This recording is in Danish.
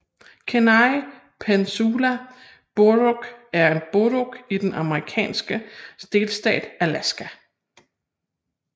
Kenai Peninsula Borough er en borough i den amerikanske delstat Alaska